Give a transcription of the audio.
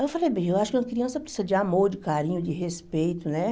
Aí eu falei, bem, eu acho que uma criança precisa de amor, de carinho, de respeito, né?